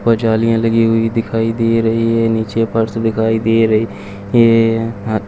ऊपर जालियाँ लगी हुई दिखाई दे रही हैं नीचे फर्श दिखाई दे रही है --